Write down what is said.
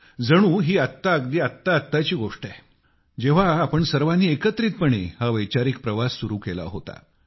जणू ही आत्ता आत्ता आत्ताची गोष्ट आहे जेव्हा आपण सर्वांनी एकत्रितपणे हा वैचारिक प्रवास सुरू केला होता